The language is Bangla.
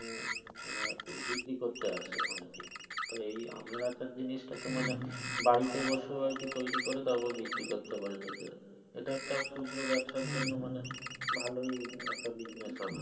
মানে আরকি বিক্রি করতে আসে অনেকেই তবে এই আমের আচার টা জিনিস টা তো বাড়িতে বসেও আরকি তৈরি করে তারপর বিক্রি তারপর বিক্রি করতে পারে নিজে এটা এটা একটা ক্ষুদ্র ব্যাবসার জন্য মানে ভালোই একটা business হবে।